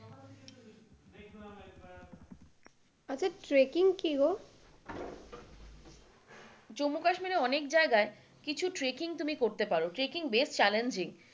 আচ্ছা ট্রেককিং কিগো? জম্মু কাশ্মীরের অনেক জায়গায় কিছু ট্রেককিং তুমি করতে পারো ট্রেককিং বেশ চ্যালেঞ্জিং,